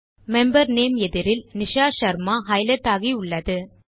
member name எதிரில் Nisha Sharma highlight ஆகியுள்ளது